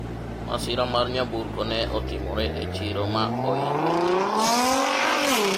masira mar nyamburko ne otimore e chiro ma ohinyo ji mang'eny